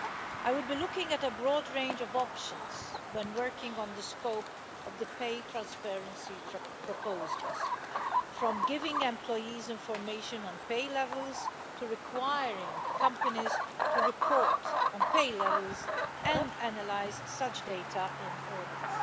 I will be looking at a broad range of options when working on the scope of the pay transparency proposals, from giving employees information on pay levels to requiring companies to report on pay levels and analyse such data in audits.